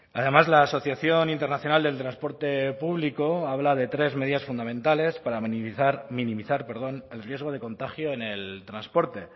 además la asociación internacional del transporte público habla de tres medidas fundamentales para minimizar minimizar perdón el riesgo de contagio en el transporte